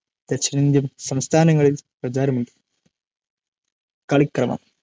ദക്ഷിണേന്ത്യൻ സംസ്ഥാനങ്ങളിൽ പ്രചാരമുണ്ട്‌ കളിക്കളം